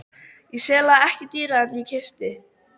Ég sel það ekki dýrara en ég keypti.